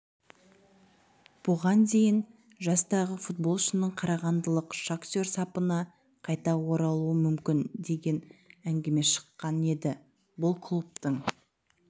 бұған дейін жастағы футболшының қарағандылық шахтер сапына қайта оралуы мүмкін деген әңгіме шыққан еді бұл клубтың